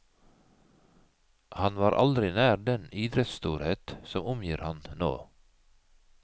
Han var aldri nær den idrettsstorhet som omgir ham nå.